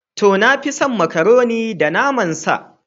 To, na fi son macaroni da naman sa.